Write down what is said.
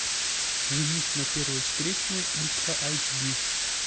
женюсь на первой встречной ультра айч ди